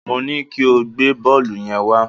Mo ní kí o gbé bọ́ọ̀lù yẹn wá